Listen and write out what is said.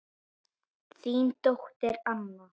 Þín dóttir Anna.